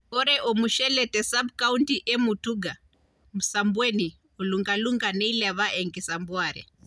Ore ormushele te sub county e Mutuga, Msambweni, o Lungalunga neilepa enkisampuare.